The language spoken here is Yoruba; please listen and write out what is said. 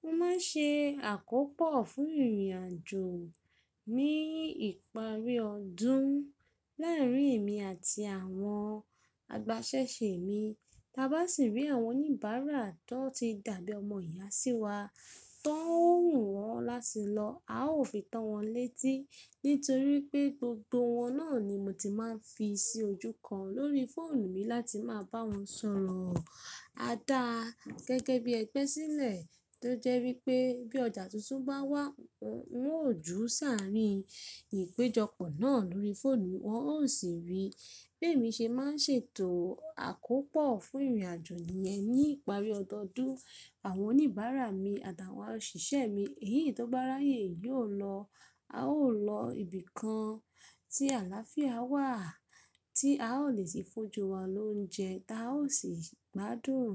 Mo ma n ṣe àkópọ̀ fún ìrìnàjò mi ìparí ọdún láàrin èmi àti àwọn agbasẹ́se mi. Ta bá sì rí àwọn oníbàárà tó ti dàbí ọmọ ìyá sí wa tó ń rù wọ́n látì lọ. A ò fi tọ́ wọn létí nítorí pé gbogbo wọ́n náà ni mo ti máa ń fi sí ojú kan lórí fóònù mi láti máa bá wọn sọ̀rọ̀. A dá a gẹ́gẹ́ bí ẹgbẹ́ sílẹ̀ tó jẹ́ wípé bí ọjà tuntun bá wà, wọn ó jù saàrí ìpéjọpọ̀ náà lórí fóònù. Wọn ó sì rí pé èmi ṣe má n ṣe ètò àkópọ̀ fún ìrìnàjò yẹn ní ìparí ọdọọdún. Àwọn oníbàárà mi àtàwọn òṣìṣẹ́ mi èyí tó bá ráyè yóò lọ. A ó lọ ibìkan tí àláfíà wà tí a ó lè sì fún ju wa lóúnjẹ tí a ó sì gbádùn